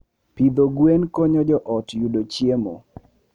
Pidho gwen konyo joot yudo chiemo.